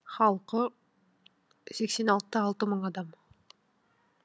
халқы сексен алты да алты мың адам